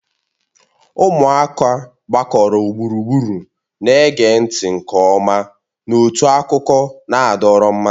Ụmụaka gbakọrọ gburugburu na-ege ntị nke ọma n'otu akụkọ na-adọrọ mmasị